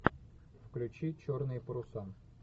включи черные паруса